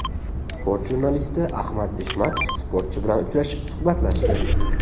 Sport jurnalisti Ahmad Eshmatov sportchi bilan uchrashib, suhbatlashdi.